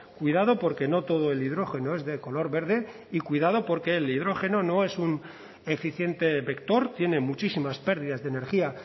cuidado porque no todo el hidrógeno es de color verde y cuidado porque el hidrógeno no es un eficiente vector tiene muchísimas pérdidas de energía